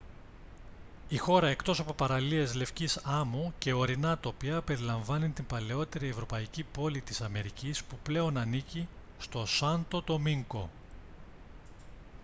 η χώρα εκτός από παραλίες λευκής άμμου και ορεινά τοπία περιλαμβάνει την παλαιότερη ευρωπαϊκή πόλη της αμερικής που πλέον ανήκει στο σάντο ντομίνγκο